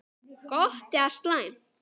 Gott eða slæmt?